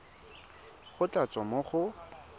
go tla tswa mo go